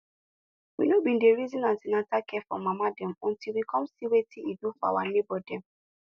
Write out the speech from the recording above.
we no been dey reason an ten atal care for mama dem until we come see wetin e do for our neighbor dem